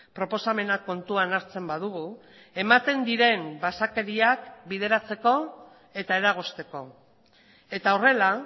proposamenak kontuan hartzen badugu ematen diren basakeriak bideratzeko eta eragozteko eta horrela